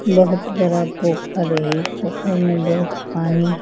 बहुत बड़ा पोखर है ई पोखर में बहुत पानी --